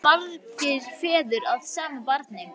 Ekki geta verið margir feður að sama barni!